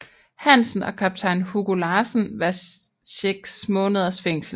Hansen og kaptajn Hugo Larsen hver 6 måneders fængsel